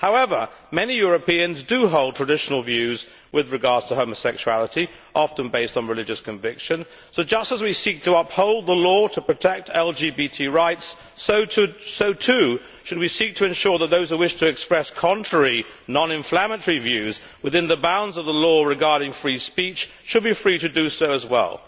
However, many Europeans do hold traditional views with regard to homosexuality, often based on religious conviction. Just as we seek to uphold the law to protect LGBT rights, so too should we seek to ensure that those who wish to express contrary, non inflammatory views within the bounds of the law regarding free speech should be free to do so as well.